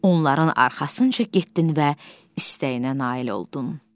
Onların arxasınca getdin və istəyinə nail oldun.